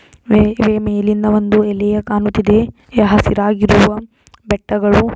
ಇದೆ ಮೇಲಿಂದ ಒಂದು ಎಲೆಯು ಕಾಣುತ್ತಿದೆ. ಎ ಹಸಿರಾಗಿರುವ ಬೆಟ್ಟಗಳು.